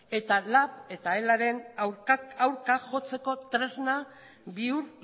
eta lab eta elaren aurka jotzeko tresna bihur